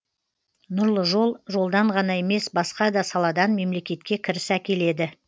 нұрлы жол жолдан ғана емес басқа да саладан мемлекетке кіріс әкеледі